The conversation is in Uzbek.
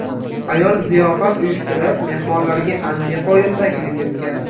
Ayol ziyofat uyushtirib, mehmonlarga antiqa o‘yin taklif etgan.